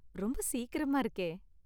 ரொம்ப சீக்கிரமா இருக்கே!